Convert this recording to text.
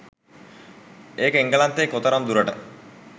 ඒක එංගලන්තයේ කොතරම් දුරට